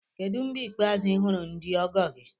Kedu mgbe ikpeazụ ị hụrụ ndị ọgọ gị?